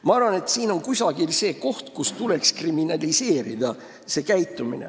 Ma arvan, et see on koht, kus selline käitumine tuleks kriminaliseerida.